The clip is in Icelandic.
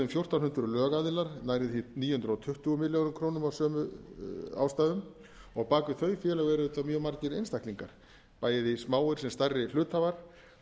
fjórtán hundruð lögaðilar nærri því níu hundruð tuttugu milljörðum króna af sömu ástæðum og bak við þau félög eru auðvitað mjög margir einstaklingar bæði smáir sem stærri hluthafar